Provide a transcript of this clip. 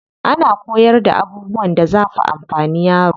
Ana koyarda abubuwan da zafi amfani yaro.